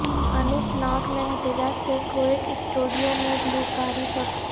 اننت ناگ میں احتجاج سے کوک سٹوڈیو میں گلوکاری تک